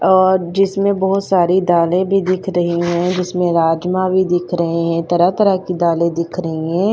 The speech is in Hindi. और जिसमें बहुत सारी दालें भी दिख रही हैं जिसमें राजमा भी दिख रहे हैं तरह तरह की दालें दिख रही हैं।